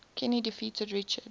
kenny defeated richard